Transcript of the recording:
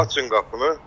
Açın qapını.